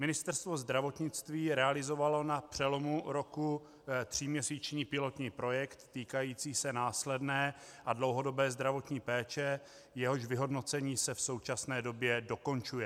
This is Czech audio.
Ministerstvo zdravotnictví realizovalo na přelomu roku tříměsíční pilotní projekt týkající se následné a dlouhodobé zdravotní péče, jehož vyhodnocení se v současné době dokončuje.